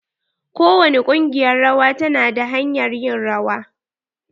Kowani kungiƴar rawa ta na da hanyar ƴin rawa.